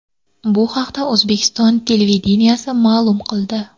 Bu haqda O‘zbekiston televideniyesi ma’lum qildi.